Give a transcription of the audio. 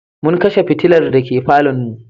Mun kashe fitilar dake falonmu.